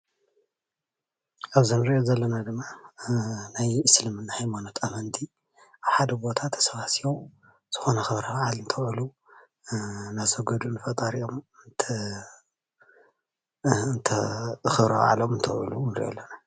ኣብዚ እንሪኦ ዘለና ድማ ናይ እስልምና ሃይማኖት ኣመንቲ ኣብ ሓደ ቦታ ተሳባሲቦም ዝኾነ ክብሪ በዓል እንተኣውዕሉ እናሰገዱ ንፈጠሪኦም ኽብሪ በዓሎም እንተብዕሉ ንሪኦም ኣለና፡፡